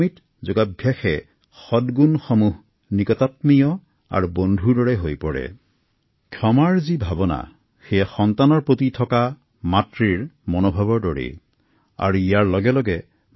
নিয়মিত যোগাভ্যাসে আমাৰ সৎ গুণসমূহ জাগ্ৰত কৰে আৰু আমাৰ ব্যক্তিত্ব উজলাই তুলে